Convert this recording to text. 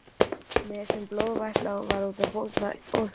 Nefið, sem blóð vætlaði úr, tók að bólgna óþyrmilega.